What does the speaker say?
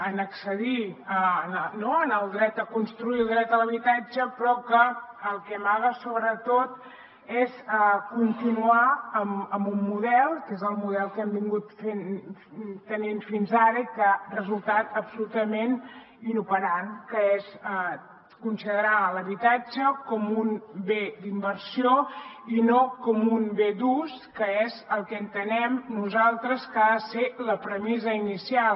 en accedir al dret a construir el dret a l’habitatge però que el que amaga sobretot és continuar amb un model que és el model que hem tingut fins ara i que ha resultat absolutament inoperant que és considerar l’habitatge com un bé d’inversió i no com un bé d’ús que és el que entenem nosaltres que ha de ser la premissa inicial